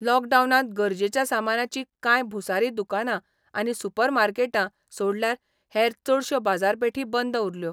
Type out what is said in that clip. लॉकडावनांत गरजेच्या सामानाची कांय भुंसारी दुकानां आनी सुपरमार्केटां सोडल्यार हेर चडश्यो बाजारपेठी बंद उरल्यो.